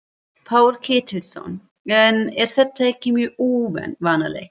Páll Ketilsson: En er þetta ekki mjög óvanalegt?